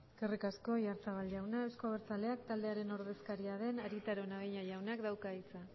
eskerrik asko oyarzábal jauna euzko abertzaleak taldearen ordezkaria den arieta araunabeña jaunak dauka hitza